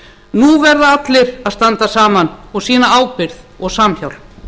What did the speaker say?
nú verða allir að standa saman og sýna ábyrgð og samhjálp